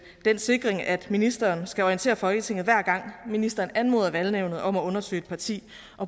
den sikring at ministeren skal orientere folketinget hver gang ministeren anmoder valgnævnet om at undersøge et parti